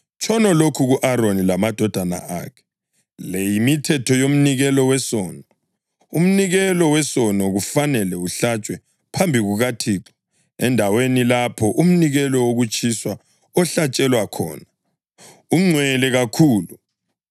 “Tshono lokhu ku-Aroni lamadodana akhe: ‘Le yimithetho yomnikelo wesono: Umnikelo wesono kufanele uhlatshwe phambi kukaThixo endaweni lapho umnikelo wokutshiswa ohlatshelwa khona. Ungcwele kakhulu.